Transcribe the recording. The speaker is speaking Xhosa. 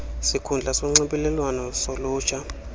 sikhundla sonxibelelwano solutsha